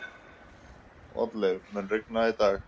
Oddleif, mun rigna í dag?